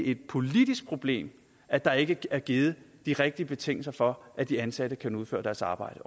et politisk problem at der ikke er givet de rigtige betingelser for at de ansatte kan udføre deres arbejde